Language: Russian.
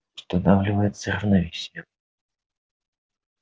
устанавливается равновесие